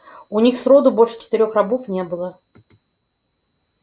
у них сроду больше четырёх рабов не было